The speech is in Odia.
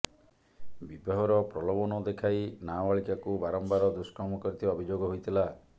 ବିବାହର ପ୍ରଲୋଭନ ଦେଖାଇ ନାବାଳିକାଙ୍କୁ ବାରମ୍ବାର ଦୁଷ୍କର୍ମ କରିଥିବା ଅଭିଯୋଗ ହୋଇଥିଲା